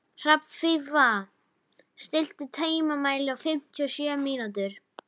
Hrafnfífa, stilltu tímamælinn á fimmtíu og sjö mínútur.